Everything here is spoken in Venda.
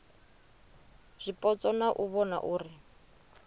zwipotso na u vhona uri